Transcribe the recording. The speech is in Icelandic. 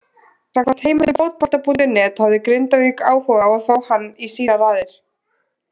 Samkvæmt heimildum Fótbolta.net hafði Grindavík áhuga á að fá hann í sínar raðir.